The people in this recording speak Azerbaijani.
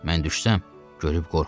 Mən düşsəm, görüb qorxar.